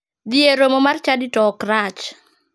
Dhi e romo mar chadi to ok rach.